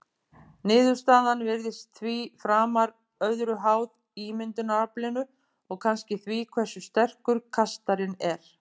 Niðurstaðan virðist því framar öðru háð ímyndunaraflinu og kannski því hversu sterkur kastarinn er.